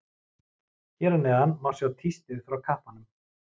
Hér að neðan má sjá tístið frá kappanum.